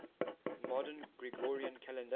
modern gregorian calendar